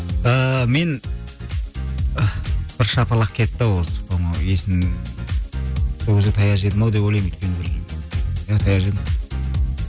ыыы мен ы бір шапалақ кетті ау осы по моему есім сол кезде таяқ жедім ау деп ойлаймын өйткені бір иә таяқ жедім